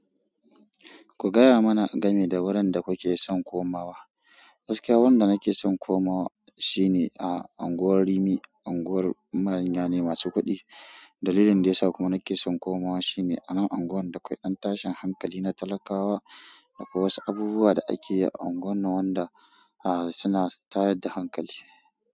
Ku gaya mana game da wurin da kuke son komawa. Gaskiya wanda nake son komawa shine unguwan rimi unguwar manya ne masu ƙudi. Dalilin da yasa kuma nake son komawa shi ne a nan unguwar da akwai ɗan tashin hankali na talakawa akwai wasu abubuwa da ake a unguwar nan wanda suna tayar da hankali.